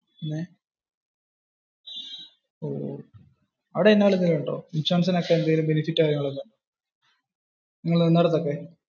ഇൻഷുറൻസിനു ഒക്കെ വെല്ല benefit കാര്യങ്ങളൊക്കെ ഉണ്ടോ? നിങ്ങൾ നിന്നോടത് ഒക്കെ?